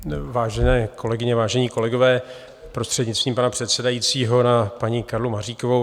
Vážené kolegyně, vážení kolegové, prostřednictvím pana předsedajícího na paní Karlu Maříkovou.